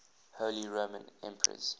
holy roman emperors